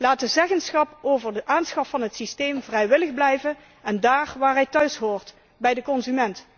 Laat de zeggenschap over de aanschaf van het systeem vrijwillig blijven en daar waar hij thuishoort, bij de consument.